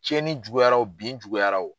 Cɛnni juguyara wo bin juguyara wo.